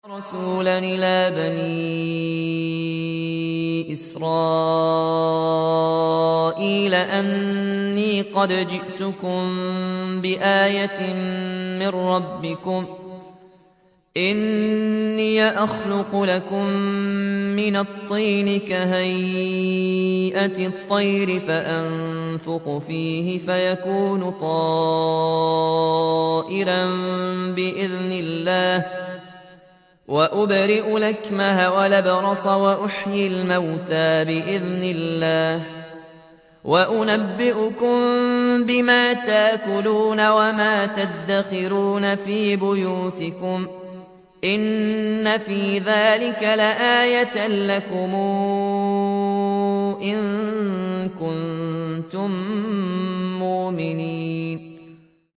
وَرَسُولًا إِلَىٰ بَنِي إِسْرَائِيلَ أَنِّي قَدْ جِئْتُكُم بِآيَةٍ مِّن رَّبِّكُمْ ۖ أَنِّي أَخْلُقُ لَكُم مِّنَ الطِّينِ كَهَيْئَةِ الطَّيْرِ فَأَنفُخُ فِيهِ فَيَكُونُ طَيْرًا بِإِذْنِ اللَّهِ ۖ وَأُبْرِئُ الْأَكْمَهَ وَالْأَبْرَصَ وَأُحْيِي الْمَوْتَىٰ بِإِذْنِ اللَّهِ ۖ وَأُنَبِّئُكُم بِمَا تَأْكُلُونَ وَمَا تَدَّخِرُونَ فِي بُيُوتِكُمْ ۚ إِنَّ فِي ذَٰلِكَ لَآيَةً لَّكُمْ إِن كُنتُم مُّؤْمِنِينَ